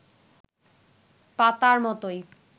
পাতার মতোই